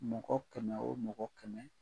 Mɔgɔ kɛmɛ o mɔgɔ kɛmɛ